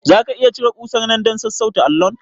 Zaka iya cire kusar nan dan sassauta allon?